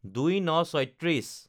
০২/০৯/৩৬